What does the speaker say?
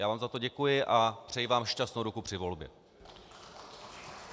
Já vám za to děkuji a přeji vám šťastnou ruku při volbě.